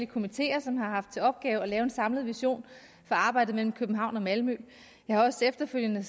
komiteer som har haft til opgave at lave en samlet vision for arbejdet mellem københavn og malmø jeg har efterfølgende